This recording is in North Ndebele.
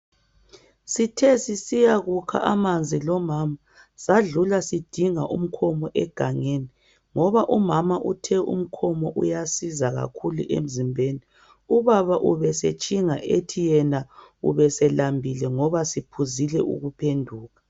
Sithe sisiya kukha amanzi lomama sadlula sidinga umkhomo egangeni ngoba umama uthe umkhomo uyasiza kakhulu emzimbeni ubaba ubesetshinga ethi yena ubeselambile ngoba siphuzile ukuphenduka.